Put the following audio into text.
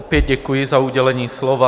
Opět děkuji za udělení slova.